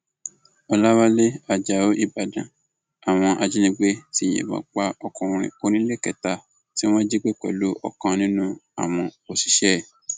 ọlàwálẹ ajáò ìbàdàn àwọn ajìnigbẹ ti yìnbọn pa ọkùnrin oníléekétà tí wọn jí gbé pẹlú ọkan nínú àwọn òṣìṣẹ ẹ